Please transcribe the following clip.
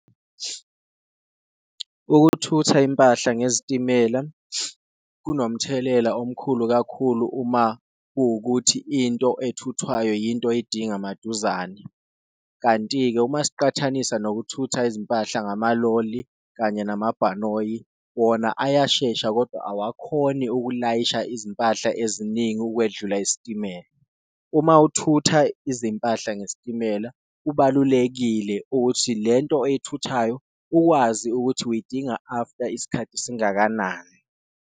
Ukuthutha impahla ngezitimela kunomthelela omkhulu kakhulu uma kuwukuthi into ethuthwayo yinto edinga maduzane, kanti-ke uma siqathanisa nokuthutha izimpahla ngamaloli kanye namabhanoyi, wona ayashesha kodwa awakhoni ukulayisha izimpahla eziningi ukwedlula isitimela. Uma uthutha izimpahla ngesitimela kubalulekile ukuthi lento oyithuthayo uwazi ukuthi uyidinga after isikhathi singakanani.